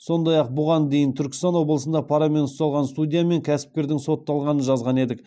сондай ақ бұған дейін түркістан облысында парамен ұсталған судья мен кәсіпкерің сотталғанын жазған едік